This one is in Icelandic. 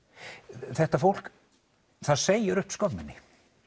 þetta fólk það segir upp skömminni